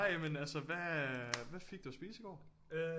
Nej men altså hvad hvad fik du at spise i går